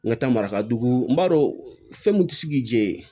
N ka taa maraka dugu n b'a dɔn fɛn min tɛ sigi yen